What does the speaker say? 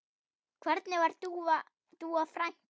Hvernig var Dúa frænka?